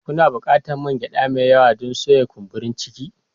Kuna buƙatar man gyada mai yawa don soya kumburi ciki